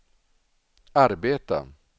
arbeta